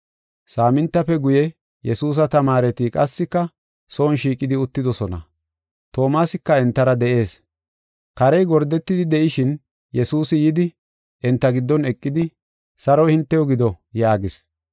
Saamintafe guye, Yesuusa tamaareti qassika son shiiqidi uttidosona; Toomasika entara de7ees. Karey gordetidi de7ishin Yesuusi yidi, enta giddon eqidi, “Saroy hintew gido” yaagis.